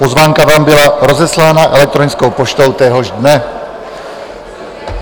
Pozvánka vám byla rozeslána elektronickou poštou téhož dne.